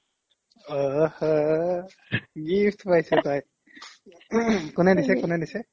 অহ হ gift পাইছে তাই কোনে দিছে কোনে দিছে